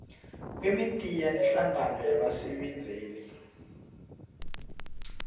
kwemidiya nehlangano yabasebenzeli